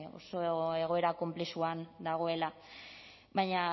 oso egoera konplexuan dagoela baina